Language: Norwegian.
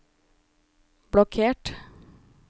blokkert